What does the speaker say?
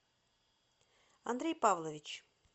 андрей павлович